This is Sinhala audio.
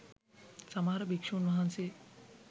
සමහර භික්‍ෂූන් වහන්සේ